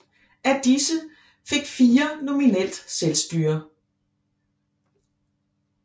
Af disse fik fire nominelt selvstyre